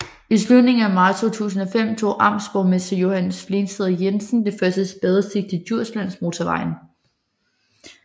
I slutningen af marts 2005 tog amtsborgmester Johannes Flensted Jensen det første spadestik til Djurslandsmotorvejen